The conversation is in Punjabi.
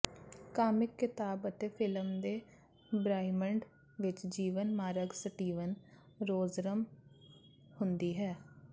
ਕਾਮਿਕ ਿਕਤਾਬ ਅਤੇ ਫਿਲਮ ਦੇ ਬ੍ਰਹਿਮੰਡ ਵਿੱਚ ਜੀਵਨ ਮਾਰਗ ਸਟੀਵਨ ਰੋਜਰ੍ਸ ਹੁੰਦੀ ਹੈ